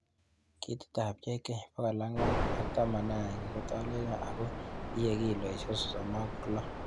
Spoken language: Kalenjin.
Ketitab JK411 kotolelion ago iye kilosiek sosom ok loo